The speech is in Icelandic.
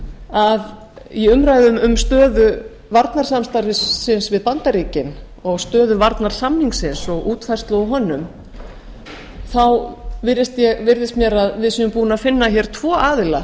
að í umræðum um stöðu varnarsamstarfsins við bandaríkin og stöðu varnarsamningsins og útfærslu á honum virðist mér að við séum búin að finna hér tvo aðila